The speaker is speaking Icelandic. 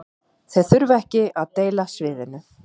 Þeir þurfa ekki að deila sviðinu